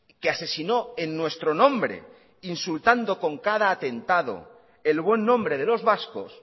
que asesinó en nuestro nombre insultando con cada atentado el buen nombre de los vascos